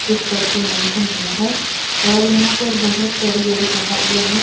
कुछ करके मेंशन हुआ है और यहाँ पर बहुत बड़ी-बड़ी पहाड़ियां हैं।